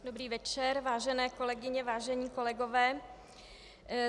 Dobrý večer, vážené kolegyně, vážení kolegové.